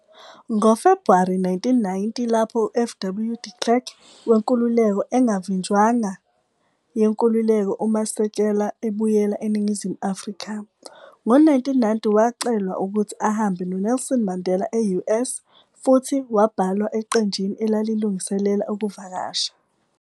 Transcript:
NgoFebhuwari 1990 lapho uFW De Klerk wenkululeko engavinjwanga yenkululeko uMasekela ebuyela eNingizimu Afrika. Ngo-1990 wacelwa ukuthi ahambe no-Nelson Mandela e-US futhi wabhalwa eqenjini elalilungiselela ukuvakasha.